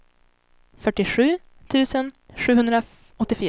fyrtiosju tusen sjuhundraåttiofyra